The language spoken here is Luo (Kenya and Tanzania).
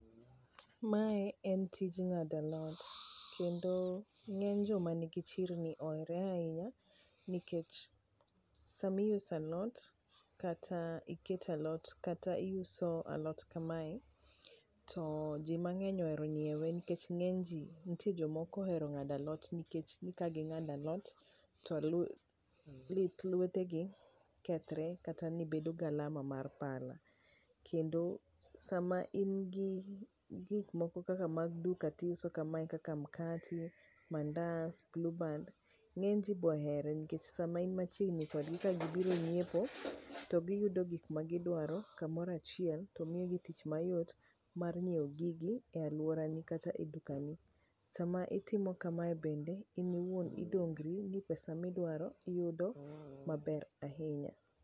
mae en tij ng'ado alot kendo ng'eny joma ni gi chirni ohere ahinya nikech sami uso alot kata iketo alot kata isuo alot kamae to ji mang'eny ohero ngiewe nikech ng'eny ji nitie joma ok ohero ng'ado alot nikech nikech ka gi ng'ado alot to lith lwete gi kethre kata ni bedo galama mar pala kendo sama in gi gik moko kaka mag duka ti uso kamae kaka mkati, mandas, blue band ng'eny ji bohere nikech sama in machiegni ka gibiro nyiepo to giyudo gik magi dwaro kamoro achiel to miyo gi tich mayot mar nyiewo gigi e aluorani kata e duka ni sama itimo kamae bende in iwuon odongri ni pesa miyudo iyudo maber ahinya